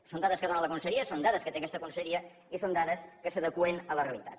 són dades que dóna la conselleria són dades que té aquesta conselleria i són dades que s’adeqüen a la realitat